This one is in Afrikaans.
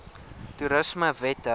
toerismewette